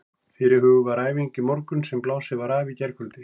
Fyrirhuguð var æfing í morgun sem blásin var af í gærkvöldi.